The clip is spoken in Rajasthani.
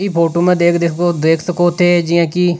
ये फोटो में देख देख सको थे की जिया की --